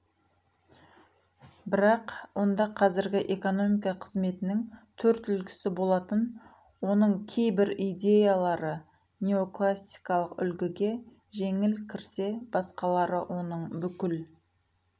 бірақ онда қазіргі экономика қызметінің төрт үлгісі болатын оның кейбір идеялары неоклассикалық үлгіге жеңіл кірсе басқалары оның бүкіл